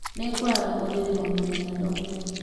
Nĩ ngũara ũrĩrĩ o mũthenya ndokĩra